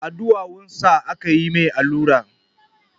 A ɗuwawunsa aka yi ma shi allura.